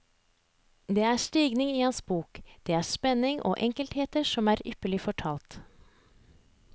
Det er stigning i hans bok, det er spenning, og enkeltheter som er ypperlig fortalt.